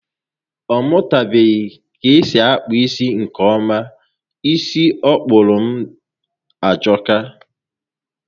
Ọ mụtabeghi k'esi akpụ isi nkè ọma. Isi ọ kpụrụ m ajọka